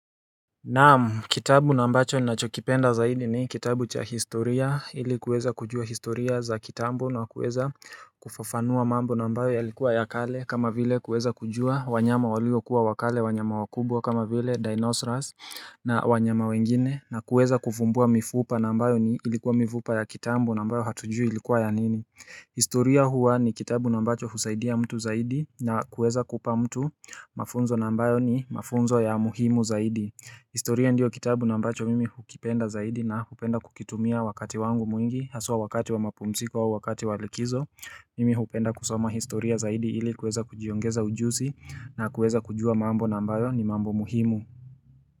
Naam, kitabu na ambacho ninachokipenda zaidi ni kitabu cha historia ili kuweza kujua historia za kitambo na kuweza kufafanua mambo na ambayo yalikuwa ya kale kama vile kuweza kujua wanyama walio kuwa wa kale wanyama wakubwa kama vile dinosaurs na wanyama wengine na kuweza kufumbua mifupa na ambayo ilikuwa mifupa ya kitambo na ambayo hatujui ilikuwa ya nini historia huwa ni kitabu na ambacho husaidia mtu zaidi na kuweza kupa mtu mafunzo na ambayo ni mafunzo ya umuhimu zaidi historia ndiyo kitabu na ambacho mimi hukipenda zaidi na hukipenda kukitumia wakati wangu mwingi Haswa wakati wa mapumziko wa wakati wa likizo Mimi hupenda kusoma historia zaidi ili kueza kujiongeza ujuzi na kueza kujua mambo na ambayo ni mambo muhimu.